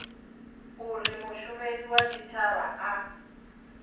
uri mushumeli wa tshitshavha a